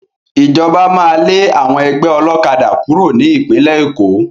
Ìjọba máa lé àwọn ẹgbẹ́ ọlọ́kadà kúrò ní Ìpínlẹ̀ Èkó